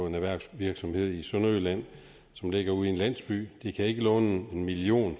en erhvervsvirksomhed i sønderjylland som ligger ude i en landsby de kan ikke låne en million